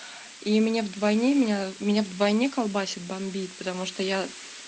и мне вдвойне меня меня вдвойне колбасит бомбит потому что я